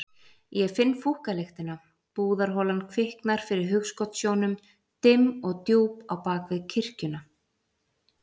Ég finn fúkkalyktina, búðarholan kviknar fyrir hugskotssjónum, dimm og djúp á bak við kirkjuna.